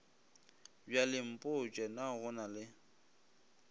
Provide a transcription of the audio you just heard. bjalempotše na go na le